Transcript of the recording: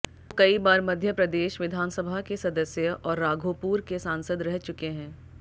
वो कई बार मध्य प्रदेश विधानसभा के सदस्य और राघोपुर के सांसद रह चुके हैं